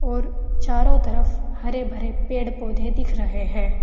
और चारों तरफ हरे भरे पेड़ पौधे दिख रहे हैं।